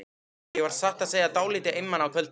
Ég var satt að segja dálítið einmana á kvöldin.